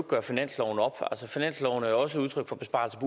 gøre finansloven op finansloven er også udtryk for besparelser